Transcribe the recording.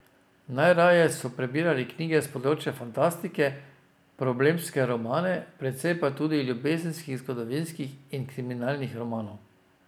Najraje so prebirali knjige s področja fantastike, problemske romane, precej pa tudi ljubezenskih, zgodovinskih in kriminalnih romanov.